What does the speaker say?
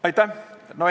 Aitäh!